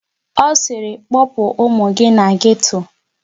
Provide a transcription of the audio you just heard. Ọ sịrị kpọpụ ụmụ gị na geto!